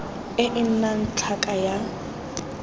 e e nnang tlhaka ya